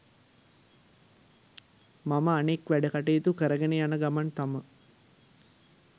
මම අනෙක් වැඩ කටයුතු කරගෙන යන ගමන් තමා